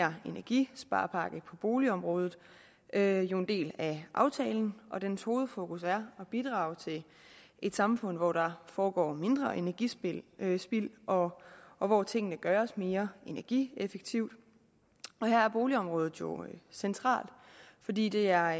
her energisparepakke på boligområdet er jo en del af aftalen dens hovedfokus er at bidrage til et samfund hvor der foregår mindre energispild og og hvor tingene gøres mere energieffektivt og her er boligområdet jo centralt fordi det er